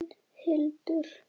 Þín, Hildur.